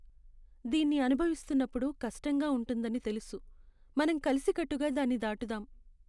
దీన్ని అనుభవిస్తున్నప్పుడు కష్టంగా ఉంటుందని తెలుసు! మనం కలిసికట్టుగా దాన్ని దాటుదాం.